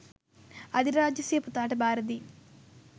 අධිරාජ්‍ය සිය පුතාට බාරදී